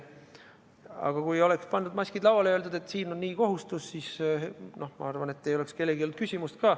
Aga kui maskid oleks pandud lauale ja öeldud, et siin on selline kohustus, siis ma arvan, et mitte kellelgi ei oleks tekkinud küsimust.